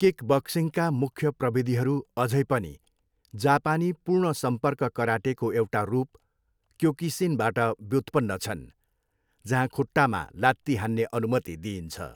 किकबक्सिङका मुख्य प्रविधिहरू अझै पनि जापानी पूर्ण सम्पर्क कराटेको एउटा रूप, क्योकुसिनबाट व्युत्पन्न छन् जहाँ खुट्टामा लात्ती हान्ने अनुमति दिइन्छ।